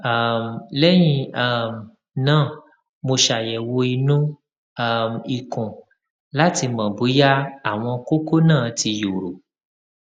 um lẹyìn um náà mo ṣàyẹwò inú um ikùn láti mọ bóyá àwọn kókó náà ti yòrò